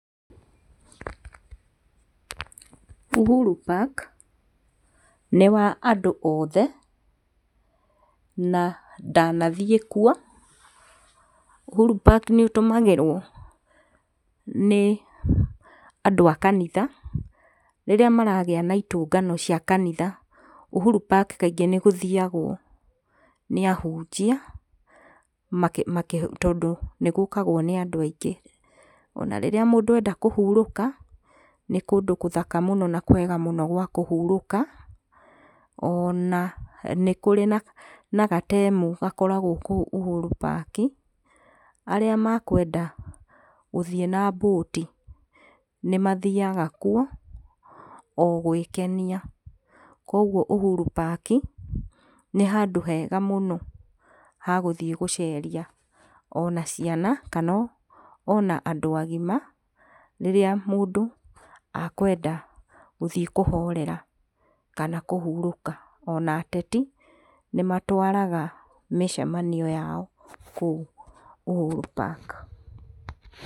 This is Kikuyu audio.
Uhuru Park nĩ wa andũ othe, na ndanathiĩ kuo. Uhuru Park nĩ ũtũmagĩrwo nĩ andũ a kanitha, rĩrĩa maragĩa na itũngano cia kanitha, Uhuru Park kaingĩ nĩ gũthiagwo kaingĩ nĩ ahunjia tondũ nĩ gũkagwo nĩ andũ aingĩ. Ona rĩrĩa mũndũ enda kũhurũka nĩ kũndũ gũthaka mũno na kwega mũno gwa kũhurũka, ona nĩ kũrĩ na gatemu gakoragwo kũu Uhuru Park, arĩa makwenda gũthiĩ na mbũti nĩ mathiaga kuo o gwĩkenia. Koguo Uhuru Park nĩ handũ hega mũno ha gũthiĩ gũceria ona ciana ona kana ona andũ agima, rĩrĩa mũndũ akwenda gũthiĩ kũhorera kana kũhurũka. Ona ateti, nĩ matwaraga mĩcemanio yao kũu Uhuru Park.